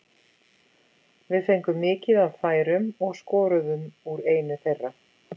Við fengum mikið af færum og skoruðum úr einu þeirra.